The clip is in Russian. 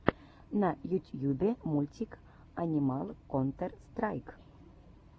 на ютьюбе мультик анимал контер страйк